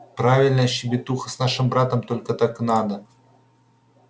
правильно щебетуха с нашим братом только так и надо